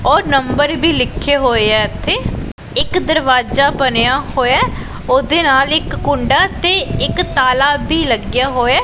ਔਰ ਨੰਬਰ ਵੀ ਲਿਖੇ ਹੋਏ ਆ ਇੱਕ ਦਰਵਾਜਾ ਬਣਿਆ ਹੋਇਆ ਉਹਦੇ ਨਾਲ ਇੱਕ ਕੁੰਡਾ ਤੇ ਇੱਕ ਤਾਲਾ ਵੀ ਲੱਗਿਆ ਹੋਇਆ।